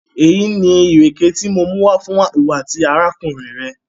Èyí ni irẹkẹ ti mò mú wa fún iwọ̀ àti arákùnrin rẹ̀.